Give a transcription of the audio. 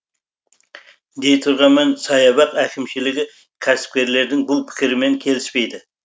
дей тұрғанмен саябақ әкімшілігі кәсіпкерлердің бұл пікірімен келіспейді